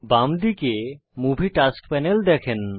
বাম দিকে আপনি মুভি টাস্ক প্যানেল দেখতে পাবেন